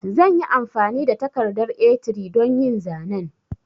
Zanyi amfani da takardar A3 don yin zanen